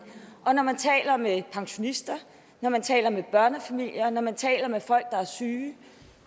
og når man taler med pensionister når man taler med børnefamilierne når man taler med folk der er syge